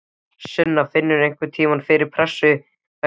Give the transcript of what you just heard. Sunna: Finnurðu einhverntímann fyrir pressu vegna símanotkunarinnar?